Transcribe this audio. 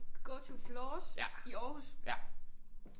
Go to floors i Aarhus